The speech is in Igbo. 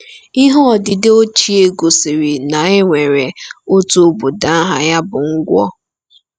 IHE odide ochie gosiri na e nwere otu obodo aha ya bụ Ngwo.